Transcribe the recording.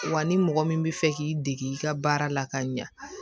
Wa ni mɔgɔ min bɛ fɛ k'i dege i ka baara la ka ɲa